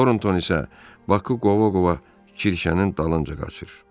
Tornton isə Bakı qova-qova kirşənin dalınca qaçır.